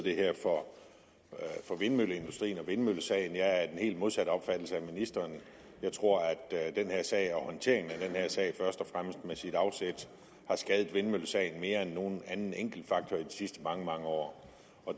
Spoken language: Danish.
for vindmølleindustrien og vindmøllesagen jeg er af den helt modsatte opfattelse end ministeren jeg tror at den her sag og håndteringen af den her sag først og fremmest med sit afsæt har skadet vindmøllesagen mere end nogen anden enkeltfaktor i de sidste mange mange år